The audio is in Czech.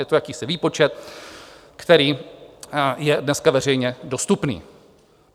Je to jakýsi výpočet, který je dneska veřejně dostupný.